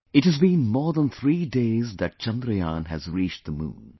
It has been more than three days that Chandrayaan has reached the moon